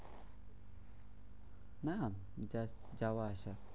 না just যাওয়া আসা।